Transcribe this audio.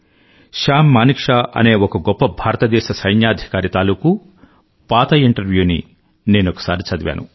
Sam Manekshaw అనే ఒక గొప్ప భారతదేశ సైన్యాధికారి తాలూకూ పాత ఇంటర్వ్యూ సంభాషణని నేనొకసారి చదివాను